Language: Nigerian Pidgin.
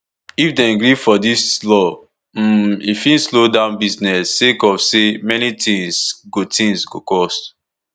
if dem gree for dis law um e fit slow down business sake of say many tins go tins go cost